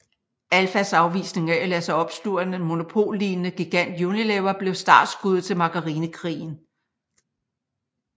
Alfas afvisning af at lade sig opsluge af den monopollignende gigant Unilever blev startskuddet til Margarinekrigen